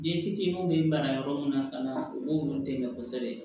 Den fitininw bɛ mara yɔrɔ min na fana u b'olu dɛmɛ kosɛbɛ